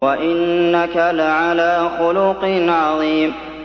وَإِنَّكَ لَعَلَىٰ خُلُقٍ عَظِيمٍ